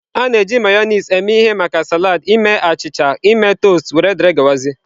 A na-eji Mayonezi eme ihe maka salad, ime achịcha, ime toasts, wdg.